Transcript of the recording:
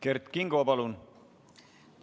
Kert Kingo, palun!